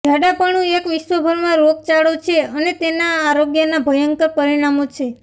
જાડાપણું એક વિશ્વભરમાં રોગચાળો છે અને તેના આરોગ્યના ભયંકર પરિણામો છે